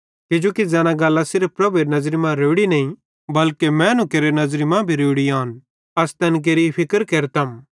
किजोकि ज़ैना गल्लां सिर्फ प्रभुएरे नज़र मां रोड़ी नईं बल्के मैनू केरे नज़री मां रोड़ी आन अस तैन केरि फिक्र केरतम